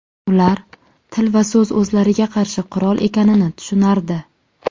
Ular til va so‘z o‘zlariga qarshi qurol ekanini tushunardi.